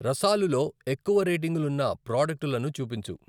రసాలులో ఎక్కువ రేటింగులున్న ప్రాడక్టులను చూపించు.